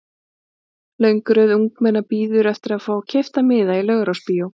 Löng röð ungmenna bíður eftir að fá keypta miða í Laugarásbíói.